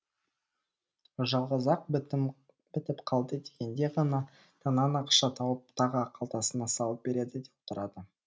жалғыз ақ бітіп қалды дегенде ғана тыңнан ақша тауып тағы қалтасына салып береді де отырады